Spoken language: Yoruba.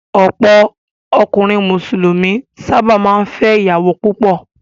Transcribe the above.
Àwọn ọkùnrin Mùsùlùmí sábà máa ń fẹ́ ìyàwó púpọ̀.